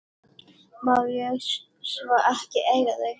Má ég svo ekki eiga þau?